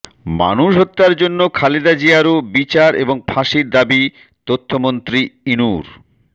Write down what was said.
মানুষ হত্যার জন্য খালেদা জিয়ারও বিচার এবং ফাঁসির দাবি তথ্যমন্ত্রী ইনুর